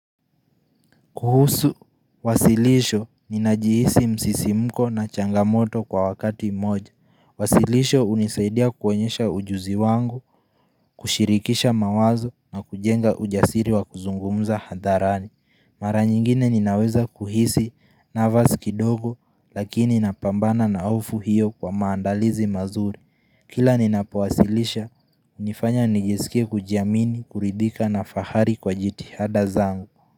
Kuhusu, wasilisho, ninajihisi msisimko na changamoto kwa wakati moja. Wasilisho hunisaidia kuonyesha ujuzi wangu, kushirikisha mawazo na kujenga ujasiri wa kuzungumza hadharani. Mara nyingine ninaweza kuhisi nervous kidogo lakini napambana na hofu hiyo kwa maandalizi mazuri. Kila ninapo wasilisha, hunifanya nijisikie kujiamini, kuridhika na fahari kwa jitihada zangu.